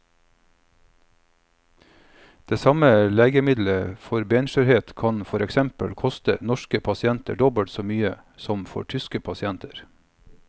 Det samme legemiddelet for benskjørhet kan for eksempel koste norske pasienter dobbelt så mye som for tyske pasienter.